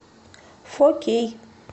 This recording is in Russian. фо кей